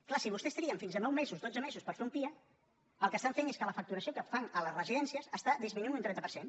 clar si vostès triguen fins a nou mesos dotze mesos per fer un pia el que estan fent és que la facturació que fan a les residències està disminuint un trenta per cent